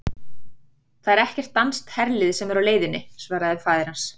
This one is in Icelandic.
Það er ekki danskt herlið sem er á leiðinni, svaraði faðir hans.